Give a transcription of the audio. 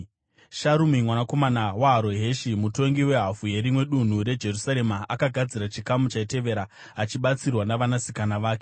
Sharumi mwanakomana waHaroheshi, mutongi wehafu yerimwe dunhu reJerusarema, akagadzira chikamu chaitevera achibatsirwa navanasikana vake.